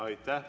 Aitäh!